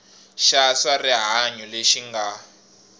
xa swa rihanyo lexi nga